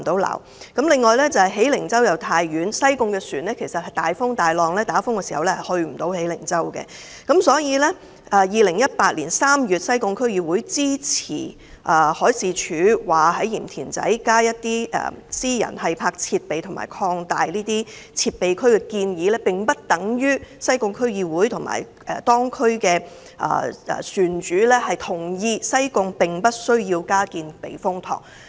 另外，喜靈洲則太遠，西貢的船隻在大風大浪及颱風吹襲時，無法駛到喜靈洲。因此 ，2018 年3月，西貢區議會支持海事處在鹽田仔加建一些私人繫泊設備及擴大這些設備區的建議，但這並不等於西貢區議會及當區的船主同意西貢不需加建避風塘。